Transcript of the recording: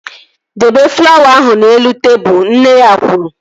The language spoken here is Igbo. Debe flawa ahụ n'elu tebụl! Nne ya kwuru